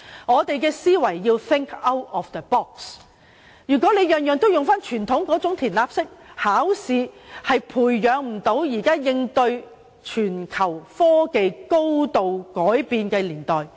我們要 think out of the box ，因為傳統那種"填鴨式"的考試制度，並不能培養出足以應對全球科技高度發展的人才。